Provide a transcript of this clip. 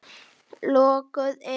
Lokuð inni.